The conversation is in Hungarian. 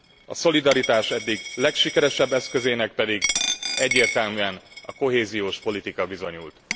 A szolidaritás eddig legsikeresebb eszközének pedig egyértelműen a kohéziós politika bizonyult.